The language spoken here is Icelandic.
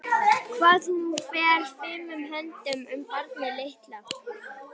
Hvað hún fer fimum höndum um barnið litla.